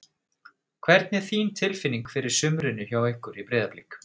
Hvernig er þín tilfinning fyrir sumrinu hjá ykkur í Breiðablik?